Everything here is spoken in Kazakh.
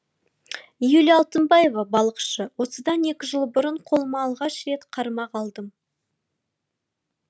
юлия алтынбаева балықшы осыдан екі жыл бұрын қолыма алғаш рет қармақ алдым